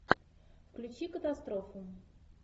включи катастрофу